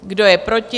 Kdo je proti?